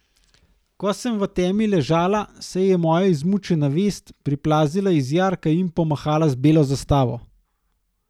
Ko sem v temi ležala, se je moja izmučena vest priplazila iz jarka in pomahala z belo zastavo.